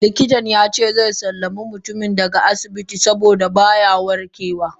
Likitan yace xe sallami mutumin daga asibitin saboda baya warkewa.